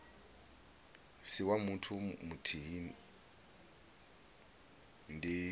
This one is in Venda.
si wa muthu muthihi ndi